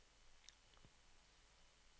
nedjustering